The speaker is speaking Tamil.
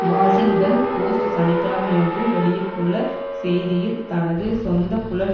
வாஷிங்டன் போஸ்ட் சனி கிழமையன்று வெளியிட்டுள்ள செய்தியில் தனது சொந்த புலன்